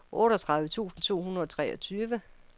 otteogtredive tusind to hundrede og treogtyve